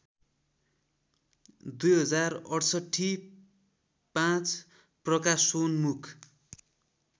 २०६८ ५ प्रकाशोन्मुख